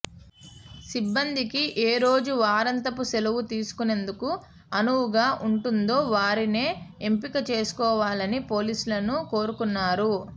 సిబ్బందికి ఏరోజు వారాంతపు సెలవు తీసుకొనేందుకు అనువుగా ఉంటుందో వారినే ఎంపికచేసుకోవాలని పోలీసులను కోరనున్నారు